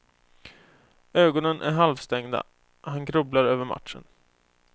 Ögonen är halvstängda, han grubblar över matchen.